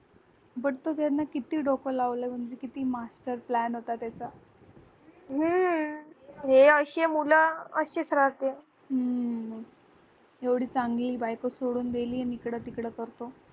बगतर त्यांना किती डोक लावल म्हणजे किती master plan असेल होता त्याचा एवढी चांगली बायको सोडून दिली नि इकडं तिकड बघतो